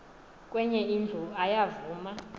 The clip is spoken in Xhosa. kwenye indlu ayavuma